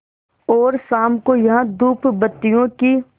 और शाम को यहाँ धूपबत्तियों की